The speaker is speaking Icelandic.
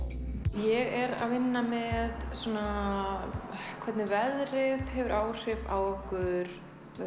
ég er að vinna með svona hvernig veðrið hefur áhrif á okkur